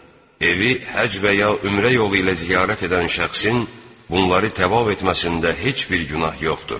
Evi həcc və ya ömrə yolu ilə ziyarət edən şəxsin bunları təvaf etməsində heç bir günah yoxdur.